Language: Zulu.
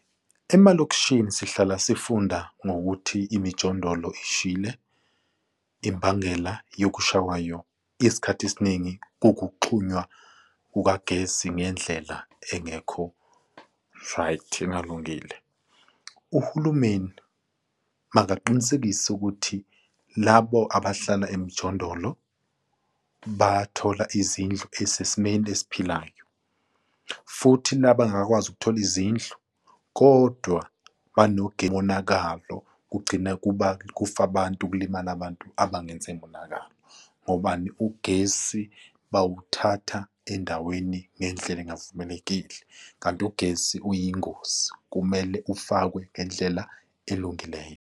Emalokishini sihlala sifunda ngokuthi imijondolo ishile imbangela yokusha kwayo isikhathi esiningi kukuxhunywa kukagesi ngendlela engekho right, engalungile. Uhulumeni makaqinisekise ukuthi labo abahlala emjondolo bathola izindlu esesimeni esiphilayo, futhi la bangakwazi ukuthola izindlu kodwa umonakalo kugcina kuba kufa abantu, kulimala abantu abangenze monakalo, ngobani? Ugesi bawuthatha endaweni ngendlela engavumelekile kanti ugesi uyingozi kumele ufakwe ngendlela elungileyo.